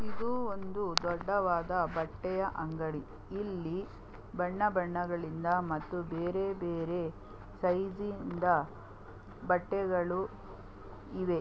ಇದು ಒಂದು ದೊಡ್ಡದಾದ ಬಟ್ಟೆಯ ಅಂಗಡಿ ಇಲ್ಲಿ ಬಣ್ಣ ಬಣ್ಣಗಳಿಂದ ಮತ್ತೆ ಬೇರೆ ಬೇರೆ ಸೈಜ್ನಿಂದಾ ಬಟ್ಟೆಗಳು ಇವೆ.